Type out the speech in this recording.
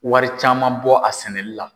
Wari caman bɔ a sɛnɛli la.